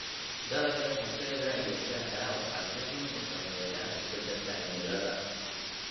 Dalagga kafeega iyo shaaha waxaa si xun u saameeya isbeddelka cimilada.